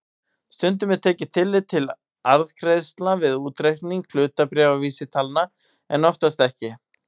Stundum er tekið tillit til arðgreiðslna við útreikning hlutabréfavísitalna en oftast ekki.